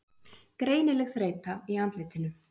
Greinileg þreyta í andlitinu.